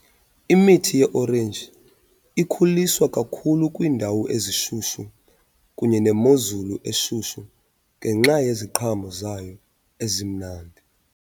Imithi ye-orenji ikhuliswa kakhulu kwiindawo ezishushu kunye nemozulu eshushu ngenxa yeziqhamo zayo ezimnandi.